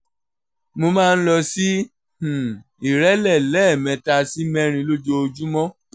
mo máa ń lọ sí um ìrẹ́lẹ̀ lẹ́ẹ̀mẹ́ta sí mẹ́rin lójoojúmọ́